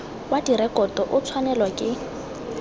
wa direkoto o tshwanelwa ke